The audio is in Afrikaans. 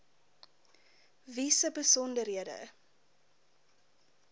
wie se besonderhede